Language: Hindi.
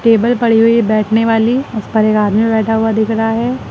टेबल पड़ी हुई है बैठने वाली उस पर एक आदमी बैठा हुआ दिख रहा है।